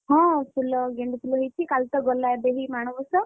ହଁ ଫୁଲ ଗେଣ୍ଡୁ ଫୁଲ ହେଇଛି କାଲି ତ ଗଲା ଏବେ ହିଁ ମାଣବସା।